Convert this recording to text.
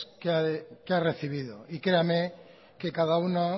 que ha recibido y créame que cada una